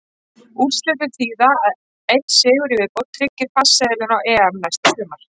Úrslitin þýða að einn sigur í viðbót tryggir farseðilinn á EM næsta sumar.